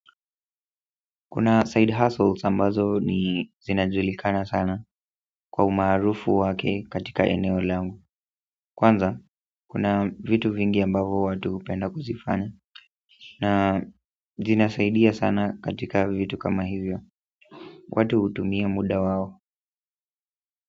Kuna side hustles ambazo ni zinajulikana sana kwa umaarufu wake katika eneo langu kwanza kuna vitu vingi ambavo watu hupenda kuzifanya na zinasaidia sana katika vitu kama hivyo watu hutumia muda wao.